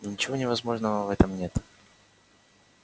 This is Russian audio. ничего невозможного в этом нет